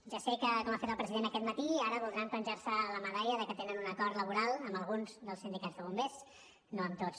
ja sé que com ha fet el president aquest matí ara voldran penjar se la medalla de que tenen un acord laboral amb alguns dels sindicats de bombers no amb tots